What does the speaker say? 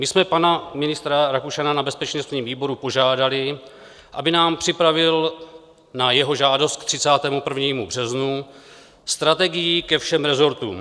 My jsme pana ministra Rakušana na bezpečnostním výboru požádali, aby nám připravil na jeho žádost k 31. březnu strategii ke všem resortům.